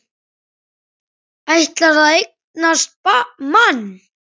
Ætlar að eignast mann.